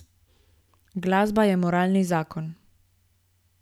Glasba je moralni zakon.